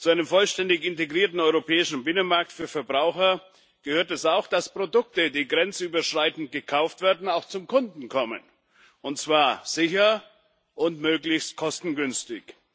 Zu einem vollständig integrierten europäischen Binnenmarkt für Verbraucher gehört es auch, dass Produkte, die grenzüberschreitend gekauft werden, auch zum Kunden kommen, und zwar sicher und möglichst kostengünstig.